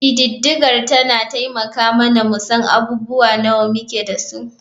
Ƙididdigar tana taimaka mana mu san abubuwa nawa muke da su.